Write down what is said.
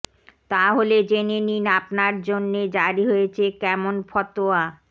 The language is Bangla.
তাহলে জেনে নিন আপনার জন্যে জারি হয়েছে কেমন ফতোয়া